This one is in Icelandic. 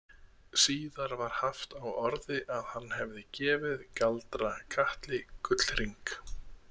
Síðar var haft á orði að hann hefði gefið Galdra- Katli gullhring.